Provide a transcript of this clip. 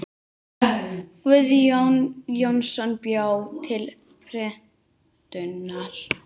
Guðni Jónsson bjó til prentunar.